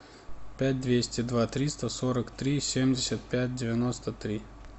пять двести два триста сорок три семьдесят пять девяносто три